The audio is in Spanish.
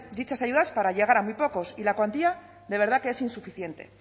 dichas ayudas para llegar a muy pocos y la cuantía de verdad que es insuficiente